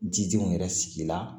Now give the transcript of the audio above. Jidenw yɛrɛ sigi la